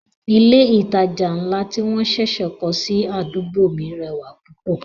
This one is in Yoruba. Ilé ìtajà ńlá tí wọ́n ṣẹ̀ṣẹ̀ kọ́ sí àdúgbò mi rẹwà púpọ̀